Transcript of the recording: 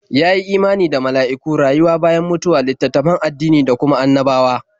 Ya yi imani da mala'iku, rayuwa bayan mutuwa, littattafan addini da duka annabawa.